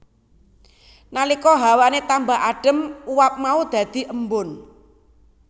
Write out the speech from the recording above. Nalika hawane tambah adem uap mau dadhi embun